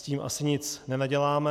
S tím asi nic nenaděláme.